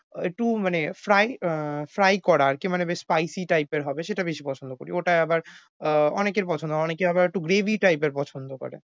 ওই একটু মানে fry আহ fry করা আর কি মানে বেশ spicy type এর হবে সেটা বেশ পছন্দ করি ওটা আবার আহ অনেকের পছন্দ না। অনেকে আবার একটু gravy এর পছন্দ করে।